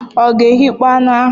Ọ ga eghekpo anụ ahụ?